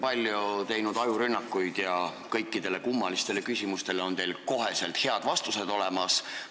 Ilmselgelt olete te teinud palju ajurünnakuid ja kõikidele kummalistele küsimustele on teil kohe head vastused olemas.